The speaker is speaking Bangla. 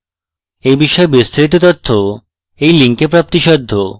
এই বিষয়ে বিস্তারিত তথ্য এই link প্রাপ্তিসাধ্য